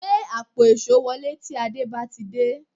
Gbé àpò èṣó wọlé tí Àdé bá ti dé